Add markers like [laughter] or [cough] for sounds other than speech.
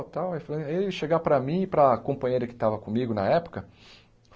[unintelligible] Ele chegar para mim e para a companheira que estava comigo na época.